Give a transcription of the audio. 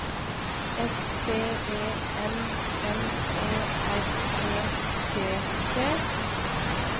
S T E M M E R E T T